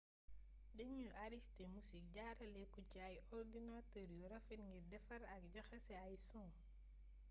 denuy aristé musik jaralé ko ci ay ordinater yu rafet ngir defar ak jaxasé ay son